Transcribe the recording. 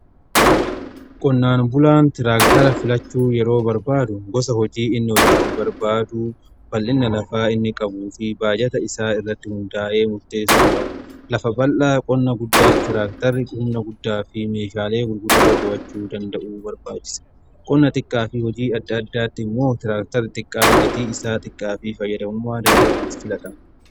qonnaan bulaan tiraaktara filachuu yeroo barbaadu gosa hojii inni hojjetu barbaaduu, bal'ina lafaa inni qabu fi baajata isaa irratti hundaa'ee murteessuu qaba. lafa bal'aa qonna guddaaf tiraaktarri qonnaa guddaa fi meeshaalee gurguddoo to'achuu danda'uutu barbaarchisa qonna xiqqaa fi hojii adda addaatti immoo tiraaktari xiqqaan gatii isaa xiqqaa fi fayyadamummaa danda'aan filatan.